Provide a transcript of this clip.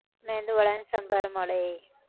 મેંદુ વડા ને સંભાર મળે એ